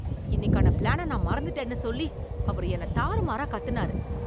இன்னிக்குக்கான plan நான் மறந்துட்டேன்னு சொல்லி அவர் என்னத் தாறுமாறாக் கத்தினாரு